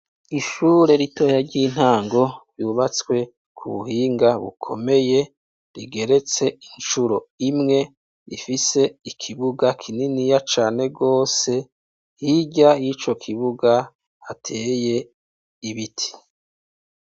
Ishure ritoya ry'intango ryubatswe kubuhinga bukomeye rigeretse incuro imwe, rifise ikibuga kininiya cane gose, hirya yico kibuga hateye ibiti .